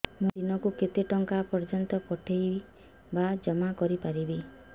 ମୁ ଦିନକୁ କେତେ ଟଙ୍କା ପର୍ଯ୍ୟନ୍ତ ପଠେଇ ବା ଜମା କରି ପାରିବି